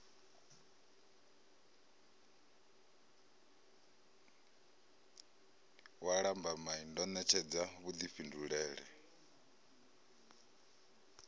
wa lambamai ndo ṋetshedza vhuḓifhindulele